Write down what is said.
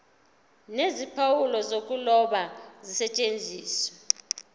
nezimpawu zokuloba zisetshenziswe